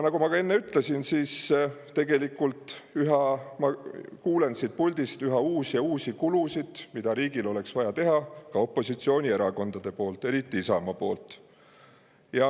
Nagu ma enne ütlesin, tegelikult ma kuulen siit puldist üha uusi ja uusi kulutusi, mida riigil oleks vaja teha, ka opositsioonierakondadelt, eriti Isamaalt.